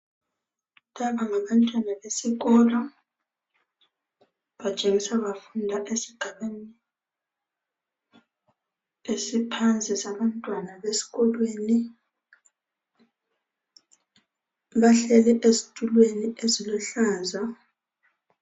Laba ngabantwana besikolo batshengisa bafunda esigabeni esiphansi sabantwana besikolweni, bahleli ezitulweni eziluhlaza.